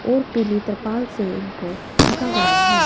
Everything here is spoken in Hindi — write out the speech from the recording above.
और पीली तिरपाल से इनको ढका हुआ है।